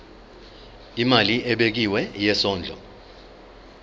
imali ebekiwe yesondlo